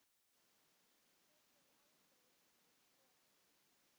Hún hefur aldrei verið skoðuð.